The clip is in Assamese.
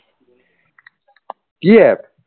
কি app